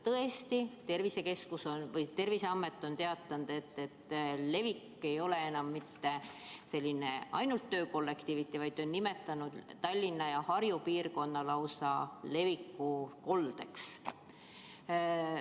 Tõesti, Terviseamet on teatanud, et levik ei ole enam mitte ainult töökollektiivides, vaid ta on nimetanud Tallinna ja Harju piirkonda lausa leviku koldeks.